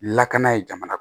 Lakana ye jamana